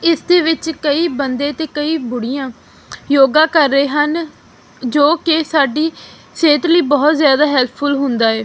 ਇਸ ਦੇ ਵਿੱਚ ਕਈ ਬੰਦੇ ਤੇ ਕਈ ਬੁੜੀਆਂ ਯੋਗਾ ਕਰ ਰਹੇ ਹਨ ਜੋ ਕਿ ਸਾਡੀ ਸਿਹਤ ਲਈ ਬਹੁਤ ਜਿਆਦਾ ਹੈਲਪਫੁਲ ਹੁੰਦਾ ਏ।